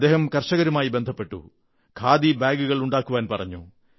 അദ്ദേഹം കർഷകരുമായി ബന്ധപ്പെട്ടു ഖാദി ബാഗുകൾ ഉണ്ടാക്കുവാൻ പറഞ്ഞു